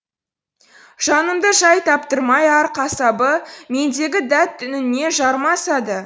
жанымды жай таптырмай ар қасабы мендегі дәт үніне жармасады